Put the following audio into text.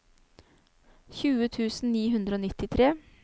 tjue tusen ni hundre og nittitre